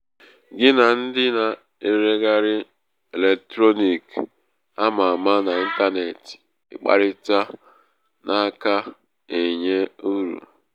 gị na ndị na-ereghari eletrọniki ama ama n' ịntanetị ịkparịta na-aka um enye.uru.